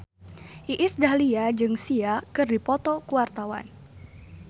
Iis Dahlia jeung Sia keur dipoto ku wartawan